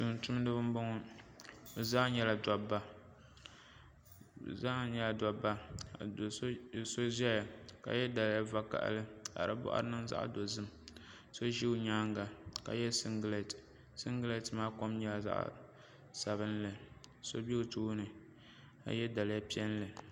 Tumtumdiba n boŋo bi zaa nyɛla dabba ka do so ʒɛya ka yɛ liiga vakaɣali ka di boɣari niŋ zaɣ dozim so ʒɛ o nyaanga ka yɛ singirɛti singirɛti maa kom nyɛla zaɣ sabinli ka so bɛ o tooni ka yɛ liiga piɛlli